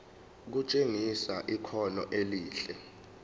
kutshengisa ikhono elihle